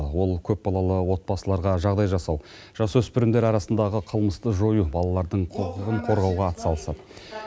ол көпбалалы отбасыларға жағдай жасау жасөспірімдер арасындағы қылмысты жою балалардың құқығын қорғауға атсалысады